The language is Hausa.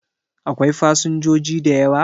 Akwai fasinjoji da yawa?